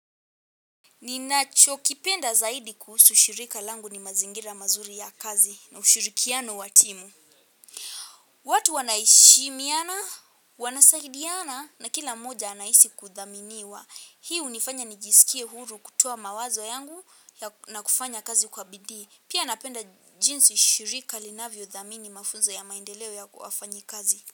Ninacho kipenda zaidi kuhusu shirika langu ni mazingira mazuri ya kazi na ushirikiano wa timu. Watu wanaheshimiana, wanasaidiana na kila moja anahisi kudhaminiwa. Hii hu nifanya nijisikie huru kutoa mawazo yangu na kufanya kazi kwa bidii. Pia napenda jinsi shirika linavyo dhamini mafunzo ya maendeleo ya kufanyi kazi.